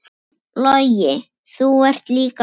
Logi, þú ert líka frábær.